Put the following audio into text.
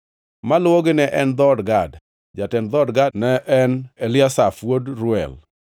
Maluwogi ne en dhood Gad. Jatend dhood Gad ne en Eliasaf wuod Reuel.